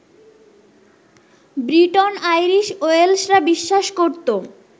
ব্রিটন-আইরিশ-ওয়েলশরা বিশ্বাস করত